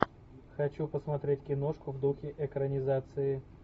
хочу посмотреть киношку в духе экранизации